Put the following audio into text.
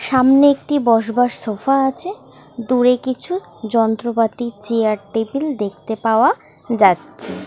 সামনে একটি বসবার সোফা আছে দূরে কিছু যন্ত্রপাতি চেয়ার টেবিল দেখতে পাওয়া যাচ্ছে